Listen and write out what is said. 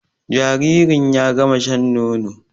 Jaririn ya gama shan nono